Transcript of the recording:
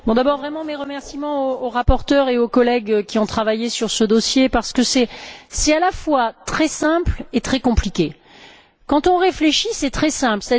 Monsieur le Président, tout d'abord mes remerciements au rapporteur et aux collègues qui ont travaillé sur ce dossier parce que c'est, à la fois, très simple et très compliqué. Quand on réfléchit, c'est très simple